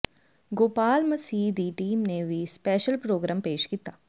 ਗੋਪਾਲ ਮਸੀਹ ਦੀ ਟੀਮ ਨੇ ਵੀ ਸਪੈਸ਼ਲ ਪ੍ਰੋਗਰਾਮ ਪੇਸ਼ ਕੀਤਾ